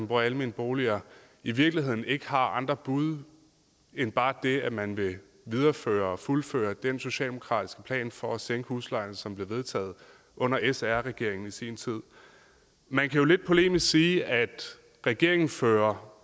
bor i almene boliger i virkeligheden ikke har andre bud end bare det at man vil videreføre og fuldføre den socialdemokratiske plan for at sænke huslejerne som blev vedtaget under sr regeringen i sin tid man kan jo lidt polemisk sige at regeringen fører